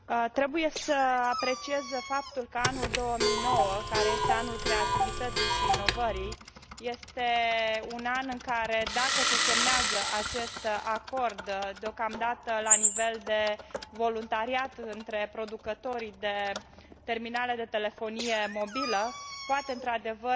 Trebuie să apreciez faptul că anul 2009, care este anul creativității și inovării, este un an în care, dacă se semnează acest acord aflat deocamdată la nivel de voluntariat între producătorii de terminale de telefonie mobilă, se